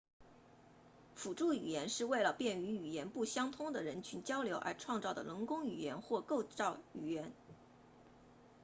辅助语言是为了便于语言不相通的人群交流而创造的人工语言或构造语言